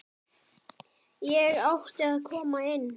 Ég átti að koma inn!